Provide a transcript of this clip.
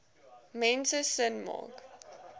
mense sin maak